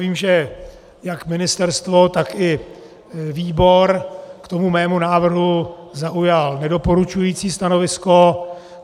Vím, že jak ministerstvo, tak i výbor k tomu mému návrhu zaujaly nedoporučující stanovisko.